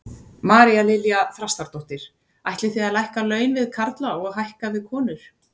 María Lilja Þrastardóttir: Ætlið þið að lækka laun við karla og hækka við konur?